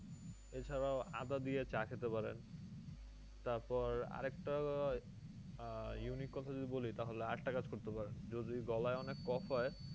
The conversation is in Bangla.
এছাড়াও আদা দিয়ে চা খেতে পারেন তারপর আরেকটা আহ unique কথা যদি বলি তাহলে আরেকটা কাজ করতে যদি গলায় অনেক caugh হয়